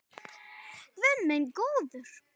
Guð minn góður!